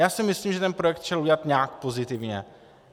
Já si myslím, že ten projekt šel udělat nějak pozitivně.